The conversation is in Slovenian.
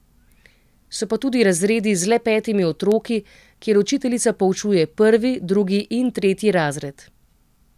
So pa tudi razredi z le petimi otroki, kjer učiteljica poučuje prvi, drugi in tretji razred.